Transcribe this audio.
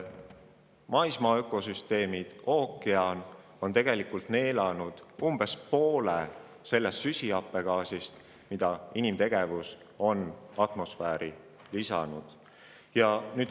Maismaa ökosüsteemid ja ookean on endasse neelanud umbes poole süsihappegaasist, mida inimtegevus on atmosfääri heitnud.